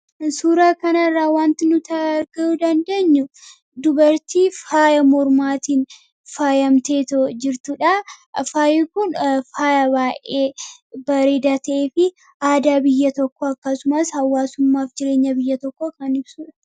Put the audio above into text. Suuraa kanaarraa wanti nuti arguu dandeenyu dubartii faaya mormaatiin faayyamteeto jirtuudha. faayi kun faaya baay'ee bareedaa ta'eefi aadaa biyya tokko akkasumaas hawwaasummaaf jireenya biyya tokko kan ibsudha